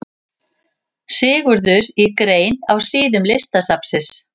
Sigurður í grein á síðum Listasafnsins.